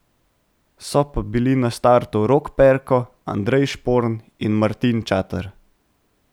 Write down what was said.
So pa bili na startu Rok Perko, Andrej Šporn in Martin Čater.